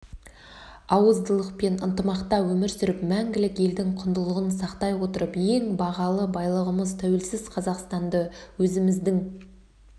ауыздылықпен ынтымақта өмір сүріп мәңгілік елдің құндылығын сақтай отырып ең бағалы байлығымыз тәуелсіз қазақстанды өзіміздің